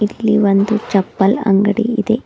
ಇಲ್ಲಿ ಒಂದು ಚಪ್ಪಲ ಅಂಗಡಿ ಇದೆ.